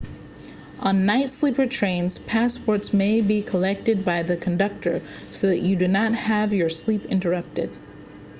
on night sleeper trains passports may be collected by the conductor so that you do not have your sleep interrupted